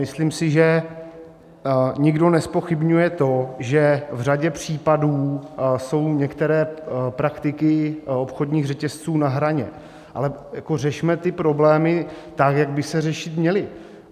Myslím si, že nikdo nezpochybňuje to, že v řadě případů jsou některé praktiky obchodních řetězců na hraně, ale řešme ty problémy tak, jak by se řešit měly.